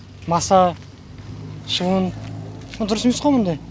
маса шыбын дұрыс емес қой мұндай